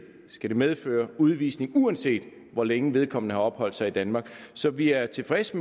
skal det medføre udvisning uanset hvor længe vedkommende har opholdt sig i danmark så vi er tilfredse